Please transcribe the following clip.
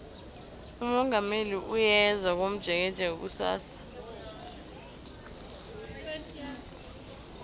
umongameli uyeza komjekejeke kusasa